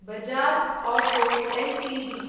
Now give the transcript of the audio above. Bajaj auto Ltd